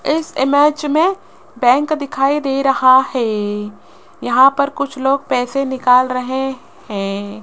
इस इमेज में बैंक दिखाई दे रहा है यहां पर कुछ लोग पैसे निकाल रहे हैं।